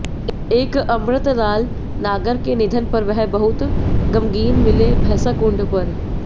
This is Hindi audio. एक अमृतलाल नागर के निधन पर वह बहुत ग़मगीन मिले भैसाकुंड पर